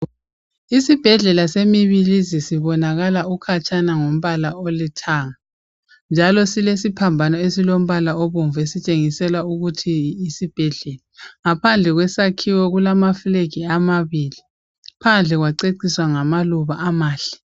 Isibhedlela seMibilizi sibonakala ukhatshana ngombala olithanga njalo silesiphambano esilombala obomvu otshengisa ukuthi yisibhedlela. Ngaphandle kwesakhiwo kulamafulegi amabili, phandle kwaceciswa ngamaluba amahle.